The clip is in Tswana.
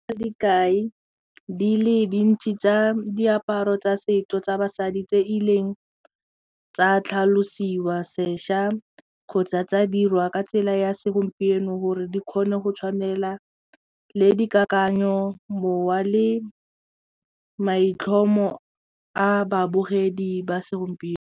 Dikai di le dintsi tsa diaparo tsa setso tsa basadi tse e leng tsa tlhalosiwa sešwa kgotsa tsa dirwa ka tsela ya segompieno gore di kgone go tshwanela le dikakanyo mowa le maitlhomo a babogedi ba segompieno.